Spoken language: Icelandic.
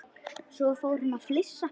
Svo fór hann að flissa.